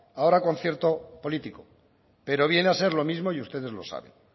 ahora concierto político pero viene a ser lo mismo y ustedes lo saben